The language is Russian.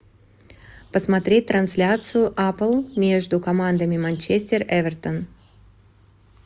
посмотреть трансляцию апл между командами манчестер эвертон